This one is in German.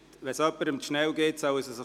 Ist das für Sie so in Ordnung?